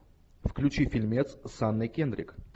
включи фильмец с анной кендрик